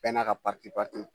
Bɛɛ n'a ka